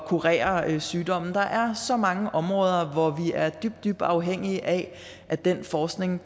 kurere sygdomme der er så mange områder hvor vi er dybt dybt afhængige af at den forskning